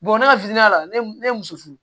Bɔn ne ka fitini la ne ye muso furu